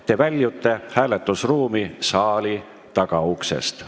Te väljute hääletusruumi saali tagauksest.